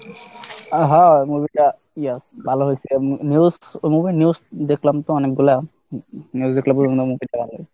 হ্যাঁ হ্যাঁ movie টা yes ভালো হয়েছে, news দেখলাম তো অনেকগুলা news দেখলাম।